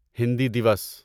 Hindi Diwas